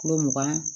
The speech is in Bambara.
Kulo mugan